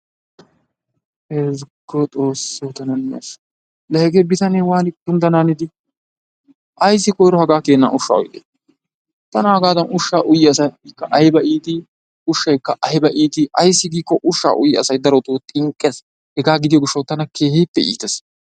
Ezggo xoossoo tana ne ashsha! Laa hegee bitanee waanii kunddanaanidi! Ayssi koyro hagaa jeena ushshaa uyidee? Tana hagaadan ushshaa uyiya asay ayba iitii, ushsykka ayba iitii? Ushshaykka ayba iitii? Ayssu giikko ushshaa uyiya asay darotoo xinqqees. Hegaa gidiyo gishshawu tana keehippe iitees.